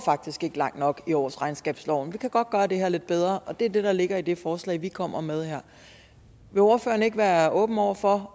langt nok i årsregnskabsloven man kan godt gøre det her lidt bedre og det er det der ligger i det forslag vi kommer med her vil ordføreren ikke være åben over for